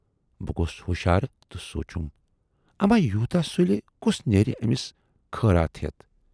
بہٕ گَوس ہُشار تہٕ سونچُم"اما یوٗتاہ سُلہِ کُس نیرِ ٲمِس خٲراتھ ہٮ۪تھ؟